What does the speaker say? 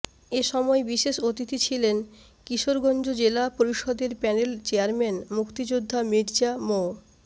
এ সময় বিশেষ অতিথি ছিলেন কিশোরগঞ্জ জেলা পরিষদের প্যানেল চেয়ারম্যান মুক্তিযোদ্ধা মির্জা মো